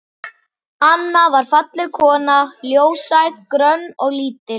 Anna var falleg kona, ljóshærð, grönn og lítil.